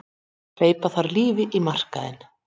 Hleypa þarf lífi í markaðinn